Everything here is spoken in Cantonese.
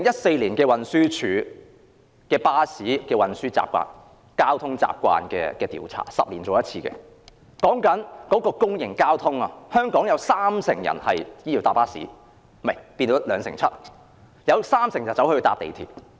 根據運輸署《2011年交通習慣調查》——是每10年進行一次的調查——在公營交通方面，全港有兩成七人乘搭巴士，另有三成人乘搭港鐵。